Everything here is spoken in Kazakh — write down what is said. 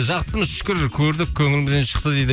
жақсымыз шүкір көрдік көңілімізден шықты дейді